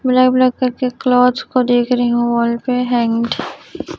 Black black करके देख रही हूं वॉल पे हैं।